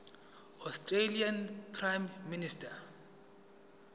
australian prime minister